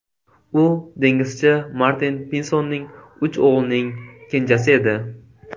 U dengizchi Martin Pinsonning uch o‘g‘lining kenjasi edi.